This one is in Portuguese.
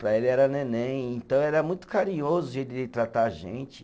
Para ele era neném, então era muito carinhoso o jeito dele tratar a gente.